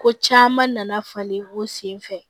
Ko caman nana falen o sen fɛ